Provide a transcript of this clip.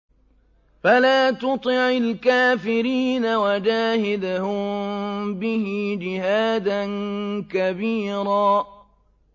فَلَا تُطِعِ الْكَافِرِينَ وَجَاهِدْهُم بِهِ جِهَادًا كَبِيرًا